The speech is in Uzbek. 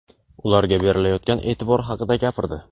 ularga berilayotgan e’tibor haqida gapirdi.